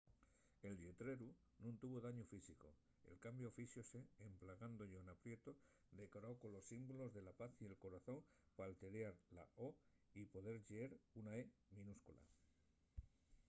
el lletreru nun tuvo dañu físicu; el cambiu fíxose emplegando llona prieto decorao colos símbolos de la paz y el corazón p’alteriar la o” y poder lleer una e” minúscula